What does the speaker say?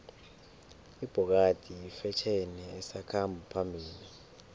ibhokadi yifetjheni esakhamba phambili